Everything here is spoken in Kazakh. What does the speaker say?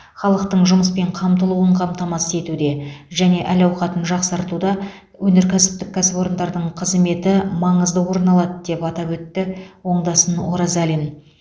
халықтың жұмыспен қамтылуын қамтамасыз етуде және әл ауқатын жақсартуда өнеркәсіптік кәсіпорындардың қызметі маңызды орын алады деп атап өтті оңдасын оразалин